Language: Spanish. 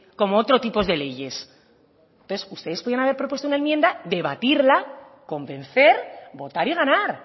como otro tipo de leyes entontes ustedes podían haber propuesto una enmienda debatirla convencer votar y ganar